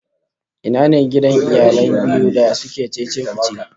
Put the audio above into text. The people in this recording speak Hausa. Ina ne gidan iyalan biyu da suke cece-kuce?